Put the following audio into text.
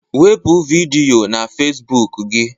Wepu vidiyo na Facebook gị